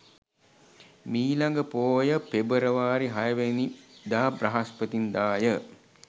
මීළඟ පෝය පෙබරවාරි 06 වැනි දා බ්‍රහස්පතින්දාය.